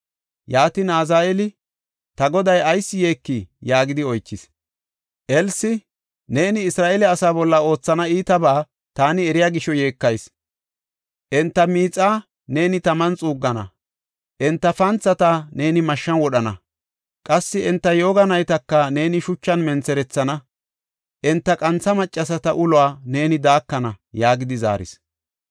Yaatin, Azaheeli, “Ta goday ayis yeekii?” yaagidi oychis. Elsi, “Neeni Isra7eele asa bolla oothana iitabaa taani eriya gisho yeekayis. Enta miixaa neeni taman xuuggana; enta panthata neeni mashshan wodhana. Qassi enta yooga naytaka neeni shuchan mentherethana; enta qantha maccasata uluwa neeni daakana” yaagidi zaaris.